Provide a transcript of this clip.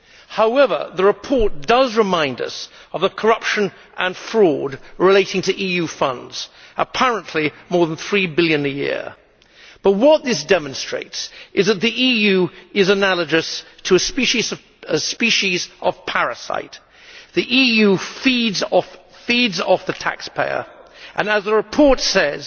However, the report does remind us of the corruption and fraud relating to EU funds apparently more than EUR 3 billion a year. What this demonstrates is that the EU is analogous to a species of parasite the EU feeds off the taxpayer and, as the report says,